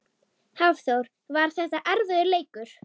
Hafþór: Var þetta erfiður leikur?